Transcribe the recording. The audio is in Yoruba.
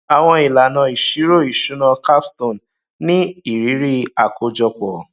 àwọn ìlànà ìṣirò ìṣúná capstone ní ìrírí àkójọpọ